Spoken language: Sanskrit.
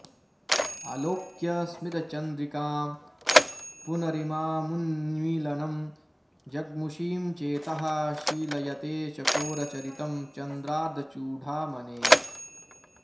आलोक्य स्मितचन्द्रिकां पुनरिमामुन्मीलनं जग्मुषीं चेतः शीलयते चकोरचरितं चन्द्रार्धचूडामणेः